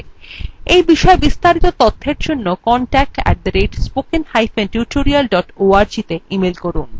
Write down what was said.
এই বিষয় বিস্তারিত তথ্যের জন্য contact @spokentutorial org তে ইমেল করুন